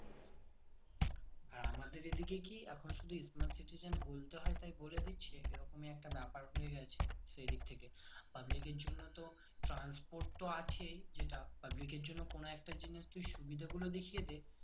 আর আমাদের এইদিকে কি এখন শুধু smart citizen বলতে হয় তাই বলে দিচ্ছি এরকম ই একটা ব্যাপার হয়ে গেছে সেইদিক থেকে public এর জন্য তো transport তো আছেই যেটা public এর জন্য কোনো একটা দিনের তুই সুবিধাগুলো দেখিয়ে দে